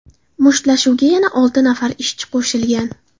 Mushtlashuvga yana olti nafar ishchi qo‘shilgan.